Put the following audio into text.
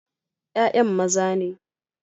Ya'yan maza ne.